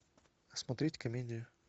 смотреть комедии